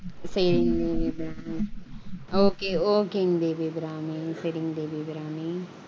சேரி ok ok ங்க தேவியபிராமி சரிங்க தேவி அபிராமி